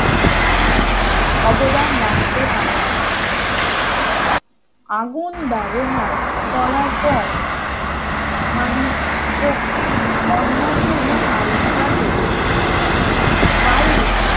অবদান রাখতে পারেন আগুন ব্যবহার করার পর মানুষ শক্তির অন্যান্য রূপ আবিষ্কার করেছিল বায়ু